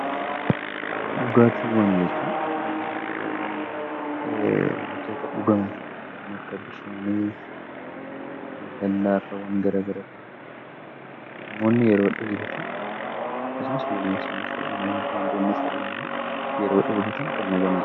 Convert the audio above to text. Dhugaatiiwwan jechuun wantoota dhugamani kanneen akka bishaanii, lallaafaa waan garagara ta'anidhaa. Namoonni yeroo dheebotan akkasumas binoonsonnis ta'uu danda'aa, bineeldonnis ta'uu danda'a yeroo dheebotan kan dhuganidha.